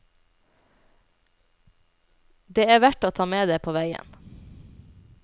Det er verdt å ta med det på veien.